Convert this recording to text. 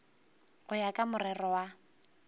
go ya ka morero wa